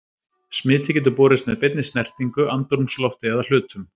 Smitið getur borist með beinni snertingu, andrúmslofti eða hlutum.